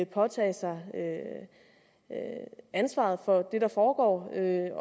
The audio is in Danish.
påtage sig ansvaret for det der foregår jeg